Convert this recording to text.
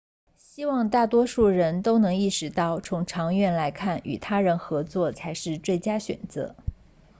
希望大多数人都能意识到从长远来看与他人合作才是最佳选择